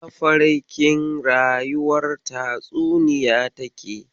Mafarkin rayuwar tatsuniya take.